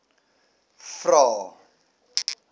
vvvvrae